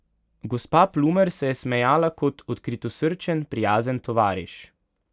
Gospa Plumer se je smejala kot odkritosrčen, prijazen tovariš.